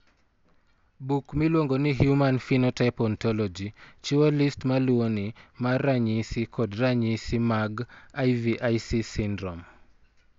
Buk miluongo ni Human Phenotype Ontology chiwo list ma luwoni mar ranyisi kod ranyisi mag IVIC syndrome.